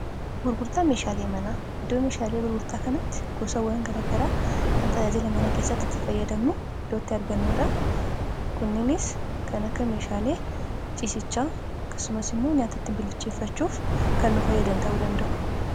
gurgurtaa meeshaalee manaaiddoo meeshaalee gurgurtaa kanatti gosawwan garagaraa kan tajaajila mana keessattiitti fayyadamnu idootti argannuudha kunninis kan akkaameeshaalee ciisichaa kasumas immoo nyaatottin bilicheeffachuuf kannuu fayyadan ta'uu danda'u